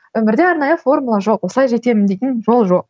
өмірде арнайы формула жоқ осылай жетемін дейтін жол жоқ